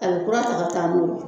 A bi kura ta ka taa n'o ye